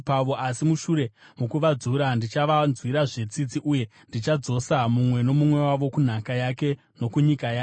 Asi mushure mokuvadzura, ndichavanzwirazve tsitsi uye ndichadzosa mumwe nomumwe wavo kunhaka yake nokunyika yake.